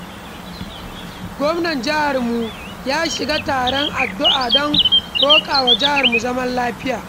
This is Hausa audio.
Gwamnan jiharmu ya shirya taron addu'a don roƙawa jihar zaman lafiya.